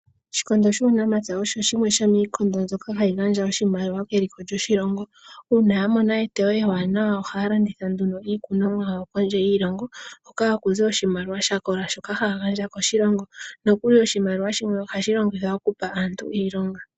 Oshikondo shuunamapya osho shimwe shomiikondo mbyoka hayi gandja oshimaliwa keliko lyoshilongo. Uuna ya mona eteyo ewaanawa ohaya landitha nduno iikunomwa yawo kondje yiilongo, hoka haku zi oshimaliwa sha kola shoka haya gandja koshilongo, nokuli oshimaliwa shimwe ohashi longithwa oku pa aantu iilonga.